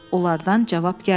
Onlardan cavab gəlmədi.